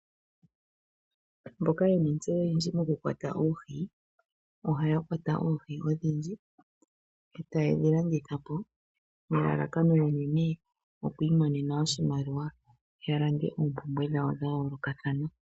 Mboka yena ontseyo oyindji moku kwata oohi ohaya kwata oohi odhindji etayedhi landithapo nelalakano unene lyoku imonena oshimaliwa ya lande oompumbwe dhawo dha yoolokathana.